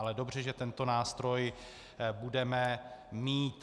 Ale dobře, že tento nástroj budeme mít.